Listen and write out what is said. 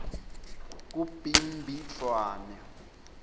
kubimbidvwane